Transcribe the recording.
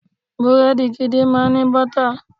Búrẹ́dì gidi máa ń ní bọ́tà.